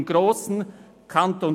im grossen Kanton